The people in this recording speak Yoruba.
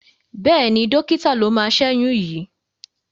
Bẹ́ẹ̀ni, dọ́kítà ló máa ṣẹ́yún yìí.